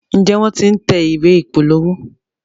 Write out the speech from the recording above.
Njé wón t'in tẹ̀ ìwé ìpolówó?